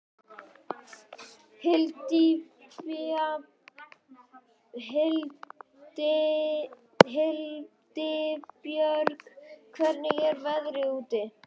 Hildibjörg, hvernig er veðrið úti?